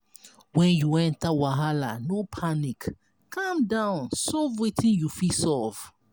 when you enter wahala no panic calm down solve wetin you fit solve